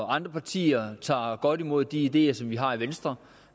andre partier der tager godt imod de ideer som vi har i venstre